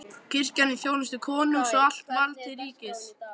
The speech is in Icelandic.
Kirkjan í þjónustu konungs og allt vald til ríkisins!